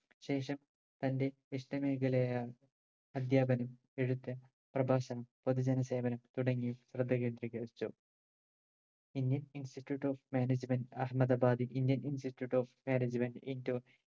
ശേഷം തന്റെ ഇഷ്ട മേഖലയായ അധ്യാപനം എഴുത്ത് പ്രഭാഷണം പൊതുജന സേവനം തുടങ്ങി ശ്രദ്ധ കേന്ത്രീകരിച്ചു പിന്നെ institute of management Ahmedabad indian institute of management indore